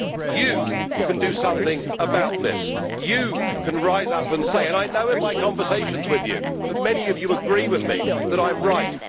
You can do something about this. You can rise up and say and I know from my conversations with you that many of you agree with me that I am right.